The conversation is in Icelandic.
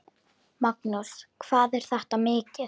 Magnús: Hvað er þetta mikið?